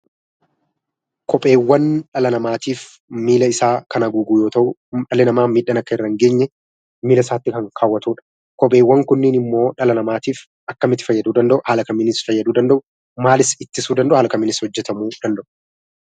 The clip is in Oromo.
Kopheewwan dhala namaatiif miilla isaa kan haguugu yoo ta’u, dhalli namaa miidhaan akka irra hin geenye miilla isaatti kan kaawwatudha. Kopheewwan kunniin immoo dhala namaatiif akkamitti fayyaduu danda'u? Haala kamiinis fayyduu danda’u? Maalis ittisuu danda’u? Haala kamiinis hojjetamuu danda’u?